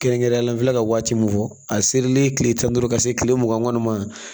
Kɛrɛnkɛrɛnnenya la n filɛ ka waati min fɔ a serilen tile tan ni duuru ka se kile mugan kɔni ma